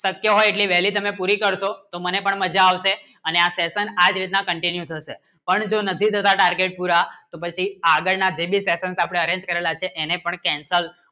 શક્ય હોય કી daily તમે પુરી કરશો તો મને પણ મજા આવશે એની આ session continue થશે પણ જો નથી કરા target પુરા પછી આગળ ના ડેલી s ession arrange કરવા એને પણ cancel